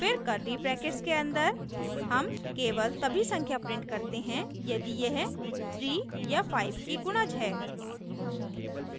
फिर curly brackets के अन्दर हम केवल तभी संख्या print करते हैं यदि यह 3 या 5 की गुणज है